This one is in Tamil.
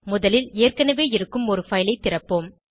முதலில் ஏற்கனவே இருக்கும் ஒரு பைல் ஐ திறப்போம்